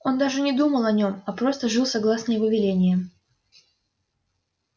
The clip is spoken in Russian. он даже не думал о нем а просто жил согласно его велениям